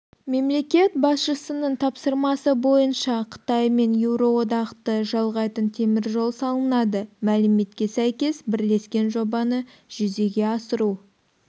мемлекет басшысының тапсырмасы бойынша қытай мен еуроодақты жалғайтын теміржол салынады мәліметке сәйкес бірлескен жобаны жүзеге асыру